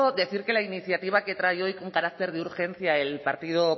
decir que la iniciativa que trae hoy con carácter de urgencia el partido